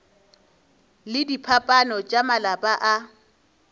le diphapano tša malapa a